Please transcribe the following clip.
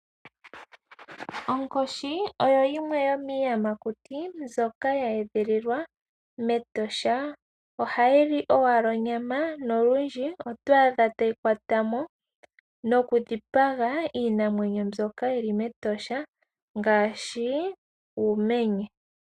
Onkoshi oyo yimwe yomiiyamakuti mbyoka ye edhililwa mEtosha. Ohayi li owala onyama nolundji oto adha tayi kwata mo nokudhipaga iinamwenyo mbyoka yi li mEtosha ngaashi uumenye.